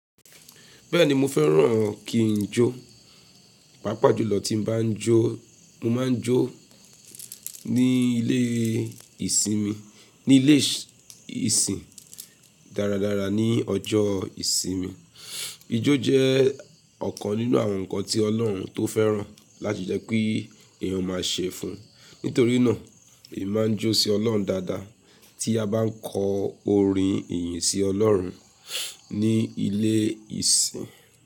Bẹ́ẹ̀ni mo fẹ́ràn kí n jó, pàápàá jùlọ tí n bá jó, mo máa ń jó ní ilé ìsinmi nílé ìsìn dáradára ní ọjọ́ ìsinmi. Ijó jẹ́ ọ̀kan nínú àwọn nǹkan tí Ọlọ́run tó fẹ́ràn láti jẹ́ pé èèyàn máa ṣe fún. Nítorí náà, èmi máa ń jó sí Ọlọ́run dáadáa tí a bá ń kọ orin ìyìn sí Ọlọ́run ní ilé ìsìn.